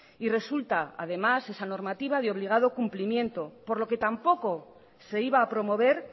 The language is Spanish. y resulta además esa normativa de obligado cumplimiento por lo que tampoco se iba a promover